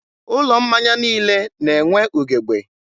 ụlọ mmanya niile na+enwe ugebe.